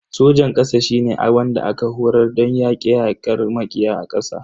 Sojan kasa shine wanda aka horar don yake yakar makiya a ƙasa.